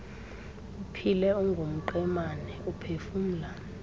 uphile ungumqemane uphefumla